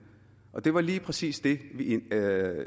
og det var lige præcis det vi